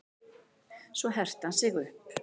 Svo herti hann sig upp.